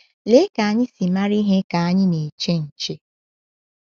Lee ka anyị si mara ihe ka anyị na-eche nche!